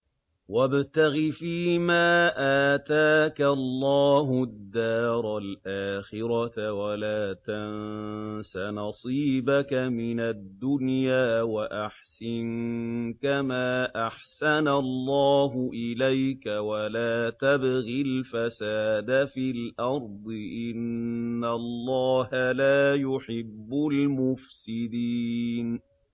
وَابْتَغِ فِيمَا آتَاكَ اللَّهُ الدَّارَ الْآخِرَةَ ۖ وَلَا تَنسَ نَصِيبَكَ مِنَ الدُّنْيَا ۖ وَأَحْسِن كَمَا أَحْسَنَ اللَّهُ إِلَيْكَ ۖ وَلَا تَبْغِ الْفَسَادَ فِي الْأَرْضِ ۖ إِنَّ اللَّهَ لَا يُحِبُّ الْمُفْسِدِينَ